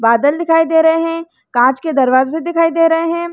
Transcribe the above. बादल दिखाई दे रहे हैं कांच के दरवाजे दिखाई दे रहे हैं।